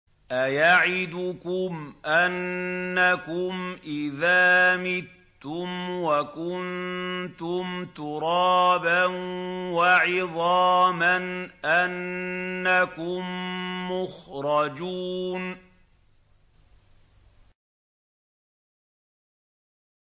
أَيَعِدُكُمْ أَنَّكُمْ إِذَا مِتُّمْ وَكُنتُمْ تُرَابًا وَعِظَامًا أَنَّكُم مُّخْرَجُونَ